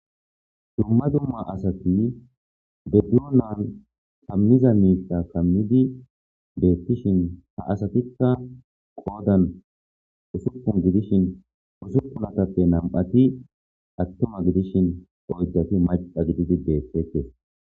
Dumma dumma asati deddiyo naan kammiza miita kammidi deettishin ha asatikka qoodan usupun gidishin usupunatappe nam7ati attoma gidishin oojjati maqa gididi deettekes.